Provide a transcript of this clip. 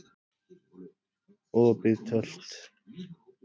Opið Tölt